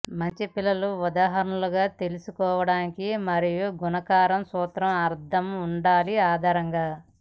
మంచి పిల్లల ఉదాహరణలుగా తెలుసుకోవడానికి మరియు గుణకారం సూత్రం అర్థం ఉండాలి ఆధారంగా